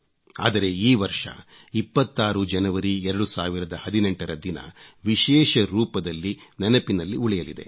ಆದರೆ ಈ ವರ್ಷ 26 ಜನವರಿ 2018 ರ ದಿನ ವಿಶೇಷ ರೂಪದಲ್ಲಿ ನೆನಪಿನಲ್ಲಿ ಉಳಿಯಲಿದೆ